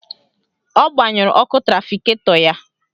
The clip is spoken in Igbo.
Ọ gbanyụrụ ọkụ trafiketọ ya.